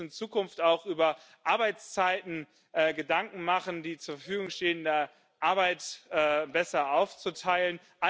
Wir müssen uns in Zukunft auch über Arbeitszeiten Gedanken machen, die zur Verfügung stehende Arbeit besser aufzuteilen.